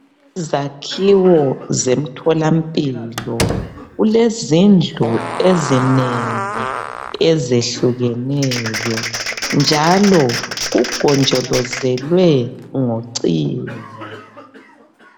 Izakhiwo zemtholampilo. Kulezindlu ezinengi, ezehlukeneyo, njalo kugonjolozelwe ngocingo.